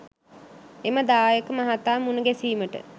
එම දායක මහතා මුණ ගැසීමට